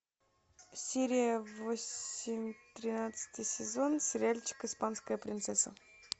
серия восемь тринадцатый сезон сериальчик испанская принцесса